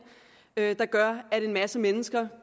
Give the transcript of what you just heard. der gør at en masse mennesker